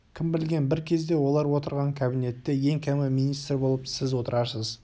кім білген бір кезде олар отырған кабинетте ең кемі министр болып сіз отырарсыз